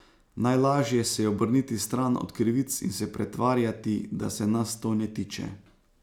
Najlažje se je obrniti stran od krivic in se pretvarjati, da se nas to ne tiče.